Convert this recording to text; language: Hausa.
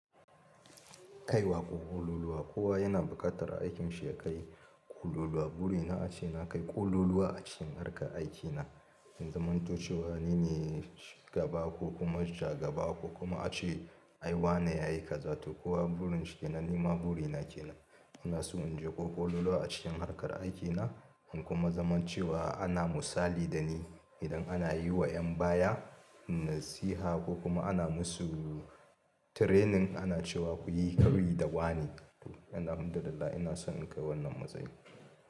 Kai wa ƙo ƙololuwa. Kowa yana buƙatar aikin shi ya kai ƙololuwa. Burina ace na kai ƙololuwa a cikin harkar aikina, in zamanto cewa ni ne shugaba ku kuma shgaba ko kuma ace ai wane ya yi ka za to. Kowa burinshi kenan. Ni ma burina ke nan. Ina so in je ko ƙololuwa a cikin harkar aikina in kuma zama cewa ana musali da ni idan ana yi wa yan baya nasiha ko kuma ana musu training ana cewa kuyi koyi da wane. To, ina hamdullilah ina so in kai wannan matsayin.